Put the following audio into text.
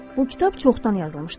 Bu kitab çoxdan yazılmışdı.